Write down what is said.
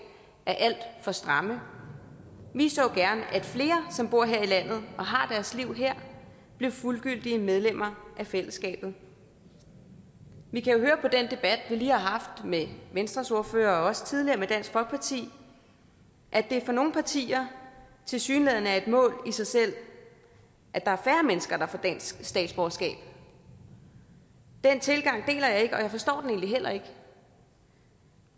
er alt for stramme vi så gerne at flere som bor her i landet og har deres liv her blev fuldgyldige medlemmer af fællesskabet vi kan jo høre på den debat vi lige har haft med venstres ordfører og også tidligere med dansk folkeparti at det for nogle partier tilsyneladende er et mål i sig selv at der er færre mennesker der får dansk statsborgerskab den tilgang deler jeg ikke og jeg forstår den egentlig heller ikke